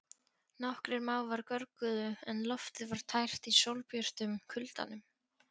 Nokkrir mávar görguðu en loftið var tært í sólbjörtum kuldanum.